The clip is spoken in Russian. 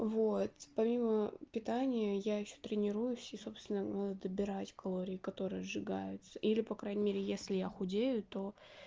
вот по мимо питание я ещё тренируюсь и собственного добирать калории которые сжигаются или по крайней мере если я худею то